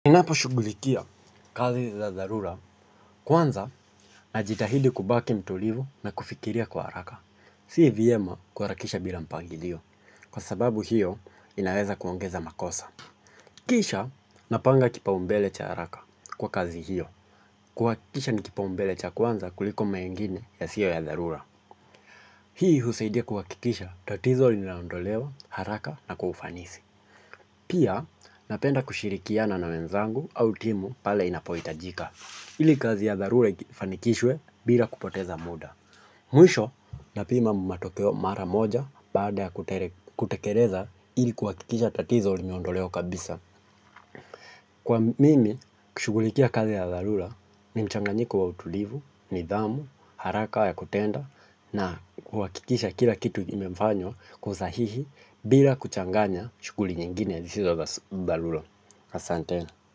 Unapo shughulikia kazi za dharura, kwanza najitahidi kubaki mtulivu na kufikiria kwa haraka. Si vimyema kuharakisha bila mpangilio, kwa sababu hiyo inaweza kuongeza makosa. Kisha napanga kipaumbele cha haraka kwa kazi hiyo. Kuakikisha ni kipaumbele cha kwanza kuliko mengine ya sio ya dharura. Hii husaidia kuakikisha tatizo li naondolewa haraka na kwa ufanisi. Pia napenda kushirikiana na wenzangu au timu pale inapoitajika. Hili kazi ya dharula ifanikishwe bila kupoteza muda. Mwisho na pima matokeo mara moja baada ya kutekereza hili kuwakikisha tatizo linaondolewa kabisa. Kwa mimi, kushugulikia kazi ya dharula ni mchanganyiko wa utulivu, nidhamu, haraka wa ya kutenda na kuwakikisha kila kitu imefanywa kwa usahihi bila kuchanganya shuguli nyingine. Hizi za dharula. Asante.